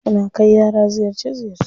Suna kai yara ziyarce ziyarce.